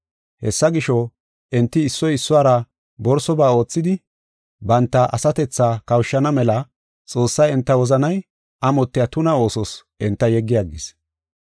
Hessa gisho, enti issoy issuwara borsoba oothidi, banta asatethaa kawushana mela Xoossay enta wozanay amotiya tuna oosos enta yeggi aggis.